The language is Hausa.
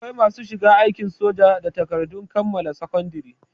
Akwai masu shiga aikin soja da takardun kammala sakandare